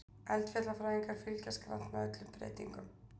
Eldfjallafræðingar fylgjast grannt með öllum breytingum